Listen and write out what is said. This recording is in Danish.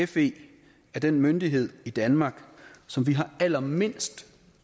fe er den myndighed i danmark som vi har allermindst